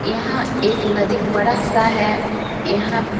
यहाँ एक नदी बड़ा सा है यहाँ --